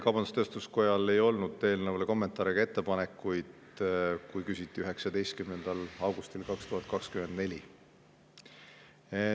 Kaubandus-Tööstuskojal ei olnud eelnõu kohta kommentaare ega ettepanekuid, kui küsiti 19. augustil 2024.